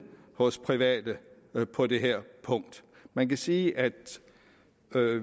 hos de private på det her punkt man kan sige at